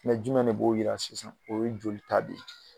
Mɛ juma de b'o jira sisan o ye joli ta de ye.